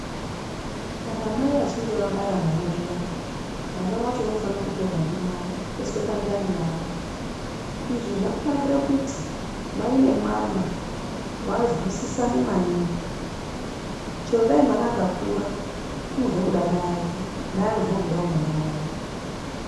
Kana mai vachinge vabara mwana zviyani mwana wacho unofana kutorwa ndimai oiswe pandani yavo. Izvi zvakanakire kuti mai nemwana vazwisisane maningi. Chero Dai mwana akakura unozwe kuda mai ake mai anozwawo kuda mwana wavo.